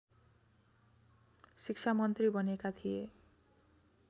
शिक्षामन्त्री बनेका थिए